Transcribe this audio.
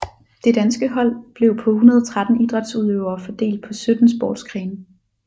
Det danske hold blev på 113 idrætsudøvere fordelt på sytten sportsgrene